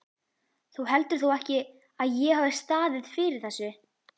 Þú heldur þó ekki, að ég hafi staðið fyrir þessu?